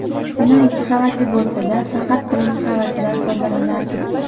Bino ikki qavatli bo‘lsa-da, faqat birinchi qavatidan foydalanardik.